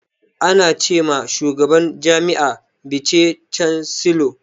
Ana ce ma shugaban jami'a bice cansilor.